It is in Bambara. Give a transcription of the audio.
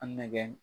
A nɛgɛn